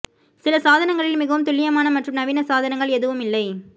சில சாதனங்களில் மிகவும் துல்லியமான மற்றும் நவீன சாதனங்கள் எதுவும் இல்லை